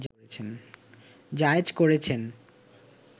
জায়েজ করেছেন